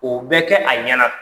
O bɛ kɛ a ɲɛna.